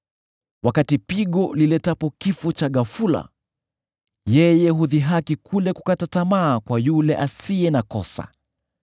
Wakati pigo liletapo kifo cha ghafula, yeye hudhihaki kule kukata tamaa kwa yule asiye na kosa.